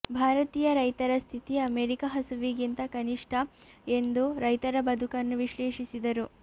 ಭಾರತೀಯ ರೈತರ ಸ್ಥಿತಿ ಅಮೆರಿಕ ಹಸುವಿಗಿಂತ ಕನಿಷ್ಠ ಎಂದು ರೈತರ ಬದುಕನ್ನು ವಿಶ್ಲೇಷಿಸಿದರು